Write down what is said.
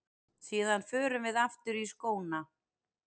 Síðan förum við aftur í skóna.